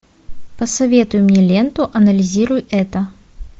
посоветуй мне ленту анализируй это